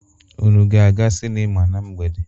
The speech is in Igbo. Unu ga-aga sịnịma na mgbede?